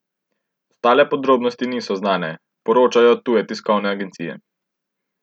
Ostale podrobnosti niso znane, poročajo tuje tiskovne agencije.